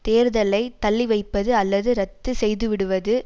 தேர்தலை தள்ளிவைப்பது அல்லது இரத்து செய்துவிடுவது